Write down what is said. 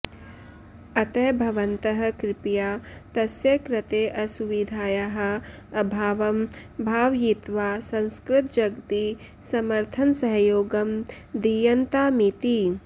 अतः भवन्तः कृपया तस्य कृते असुविधायाः अभावं भावयित्वा संस्कृतजगति समर्थनसहयोगं दीयन्तामिति